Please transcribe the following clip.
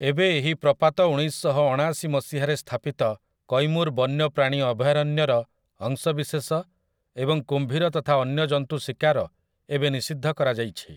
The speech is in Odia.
ଏବେ ଏହି ପ୍ରପାତ ଉଣେଇଶଶହଅଣାଶି ମସିହାରେ ସ୍ଥାପିତ କୈମୁର୍ ବନ୍ୟପ୍ରାଣୀ ଅଭୟାରଣ୍ୟର ଅଂଶବିଶେଷ ଏବଂ କୁମ୍ଭୀର ତଥା ଅନ୍ୟ ଜନ୍ତୁ ଶିକାର ଏବେ ନିଷିଦ୍ଧ କରାଯାଇଛି ।